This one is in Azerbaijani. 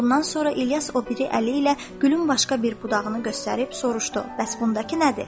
Bundan sonra İlyas o biri əli ilə gülün başqa bir budağını göstərib soruşdu: Bəs bundakı nədir?